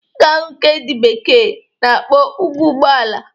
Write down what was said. Ị ga-ahụ nke ndị bekee na-akpọ ụkwụ Ụgbọala